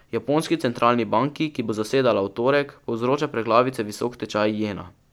Japonski centralni banki, ki bo zasedala v torek, povzroča preglavice visok tečaj jena.